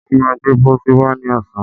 wọ́n má gbé pósí wá ní ọ̀sán.